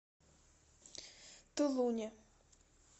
тулуне